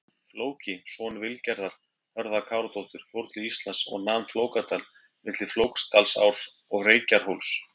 Flóki, son Vilgerðar Hörða-Káradóttur fór til Íslands og nam Flókadal, milli Flókadalsár og Reykjarhóls.